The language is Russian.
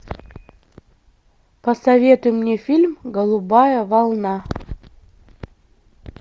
посоветуй мне фильм голубая волна